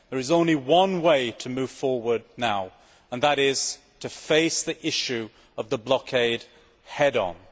There is only one way to move forward now, and that is to face the issue of the blockade head on.